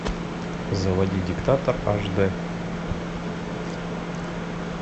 заводи диктатор аш д